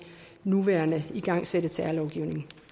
nuværende igangsatte særlovgivning